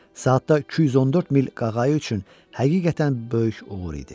Saatda 214 mil qağayı üçün həqiqətən böyük uğur idi.